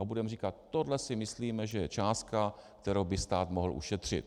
A budeme říkat: Tohle si myslíme, že je částka, kterou by stát mohl ušetřit.